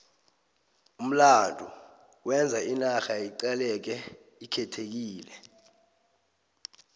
umlando wenza inarha iqaleke ikhethekile